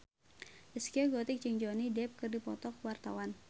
Zaskia Gotik jeung Johnny Depp keur dipoto ku wartawan